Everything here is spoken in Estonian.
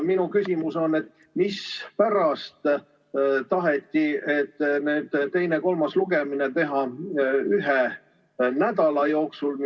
Minu küsimus on, et mispärast taheti teine ja kolmas lugemine teha ühel nädalal.